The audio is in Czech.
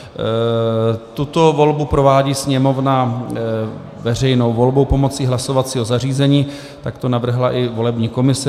Tuto volbu provádí Sněmovna veřejnou volbou pomocí hlasovacího zařízení, tak to navrhla i volební komise.